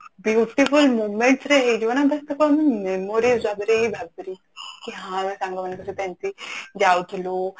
beautiful moments ରେ ହେଇଯିବ ନା but ତାକୁ ଆମେ memories ରେ ଭାବିଲି କି ହଁ ଆମେ ସାଙ୍ଗ ମାନଙ୍କ ସହିତ ଏମିତି ଯାଉଥିଲୁ